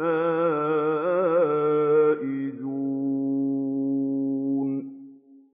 الْفَائِزُونَ